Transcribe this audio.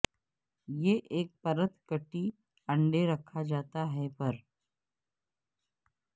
یہ ایک پرت کٹی انڈے رکھا جاتا ہے پر